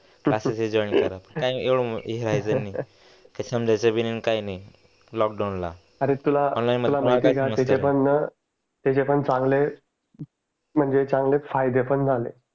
masses यायचं join करा ते समजायच भी नही न काही नाही लोकडाऊन ला तुला माहिती आहे का तेथे आपण न त्याचे पण चांगले म्हणजे त्याचे पन चा गले फायदे पण झाले